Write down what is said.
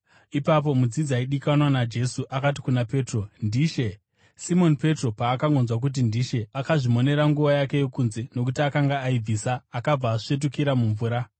Ipapo mudzidzi aidikanwa naJesu akati kuna Petro, “NdiShe!” Simoni Petro paakangonzwa kuti, “NdiShe,” akazvimonera nguo yake yokunze (nokuti akanga aibvisa) akabva asvetukira mumvura.